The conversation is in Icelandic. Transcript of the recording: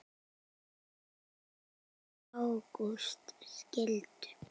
Björg og Ágúst skildu.